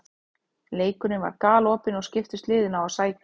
Leikurinn var galopinn og skiptust liðin á að sækja.